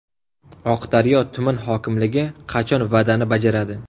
Oqdaryo tuman hokimligi qachon va’dani bajaradi?.